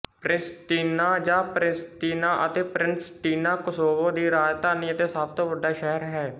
Pristina ਜਾਂ Pristina ਅਤੇ Pristina Kosovo ਦੀ ਰਾਜਧਾਨੀ ਅਤੇ ਸਭ ਤੋਂ ਵੱਡਾ ਸ਼ਹਿਰ ਹੈ